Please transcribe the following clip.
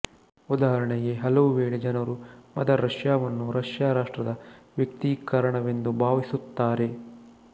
ಉದಾಹರಣೆಗೆ ಹಲವುವೇಳೆ ಜನರು ಮದರ್ ರಷ್ಯಾವನ್ನು ರಷ್ಯಾ ರಾಷ್ಟ್ರದ ವ್ಯಕ್ತೀಕರಣವೆಂದು ಭಾವಿಸುತ್ತಾರೆ